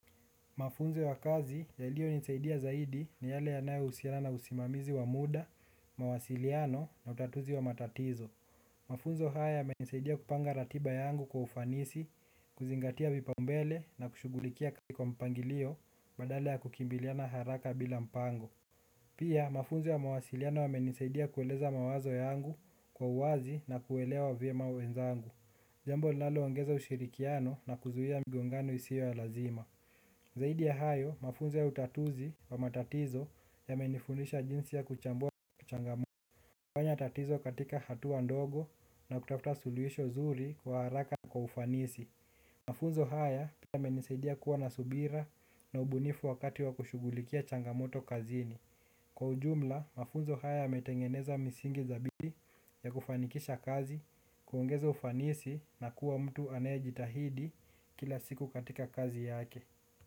Mafunzo ya kazi yalio nisaidia zaidi ni yale yanayo usiana na usimamizi wa muda, mawasiliano na utatuzi wa matatizo. Mafunzo haya yamenisaidia kupanga ratiba yangu kwa ufanisi, kuzingatia vipaumbele na kushugulikia kwa mpangilio badala ya kukimbiliana haraka bila mpango. Pia mafunzo ya mawasiliano yamenisaidia kueleza mawazo yangu kwa uwazi na kuelewa vyem awenzangu. Jambo linalo ongeza ushirikiano na kuzuhia migongano isio ya lazima. Zaidi ya hayo, mafunze ya utatuzi wa matatizo yamenifundisha jinsi ya kuchambua kuchangamoto. Kwa ujumla, mafunzo haya y metengeneza misingi za bidii ya kufanikisha kazi, kuongeza ufanisi na kuwa mtu anayejitahidi kila siku katika kazi yake.